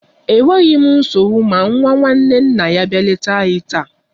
Enweghi m nsogbu ma nwa nwanne nna ya bịa leta anyi taa.